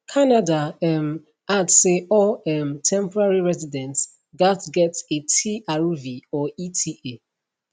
canada um add say all um temporary residents gatz get a trv or eta